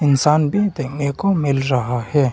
इंसान भी देखने को मिल रहा है।